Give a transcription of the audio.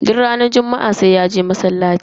Duk ranar juma'a sai ya je masallaci.